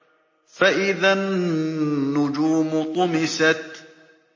فَإِذَا النُّجُومُ طُمِسَتْ